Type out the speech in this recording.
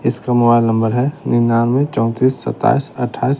इसका mobile number है निन्यानवें चौंतीस सत्ताईस अठाईस--